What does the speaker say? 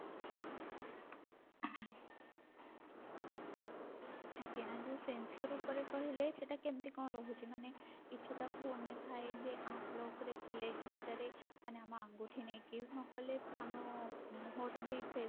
ଆଜ୍ଞା ଯଉ sensor ଉପରେ କହିଲେ ସେଟା କେମତି କଣ ରହୁଛି ମାନେ କିଛି ଟା phone ରେ ଥାଏ ଯେ app lock ରେ ଖୋଲେ କିଛି ଟାରେ ମାନେ ଆମ ଆଙ୍ଗୁଠି ନେଇକି ନହେଲେ ଆମ ମୁହଁ ର ବି face